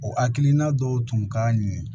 O hakilina dɔw tun ka ɲi